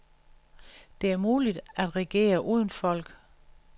Det er muligt at regere uden folk.